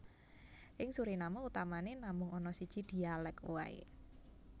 Ing Suriname utamané namung ana siji dhialèk waé